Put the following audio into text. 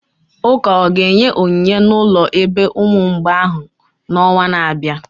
Ụka ọ ga-enye onyinye n'ụlọ ebe ụmụ mgbei ahụ n'ọnwa na-abịa?